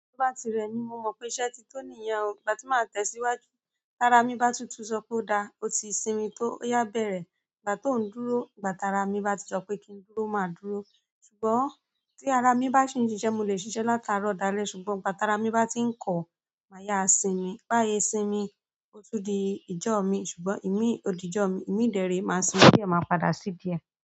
Tó bá ti rẹmi mo mọ pé iṣẹ́ ti tán niyẹn o, ìgbà tí má tẹ̀síwájú. Tara mi bá tutù sọ pé ó dá, ó ti sinmi tó. Ó ya bẹrẹ, ìgbà tó ń dúró, ìgbà tara mi bá ti sọ pé kí n dúró má dúró. Ṣùgbọ́n tí ara mi bá ṣi ń ṣiṣẹ, mo lè ṣiṣẹ latarọ dalẹ ṣùgbọ́n ìgbà tara mi bá ti ń kọ, má ya sinmi. Bayi sinmi, ó tún di ijọ míì ṣùgbọ́n, ìmíì odi ijọ mi, ìmíì dẹ re máa sinmi diẹ má padà sidi ẹ.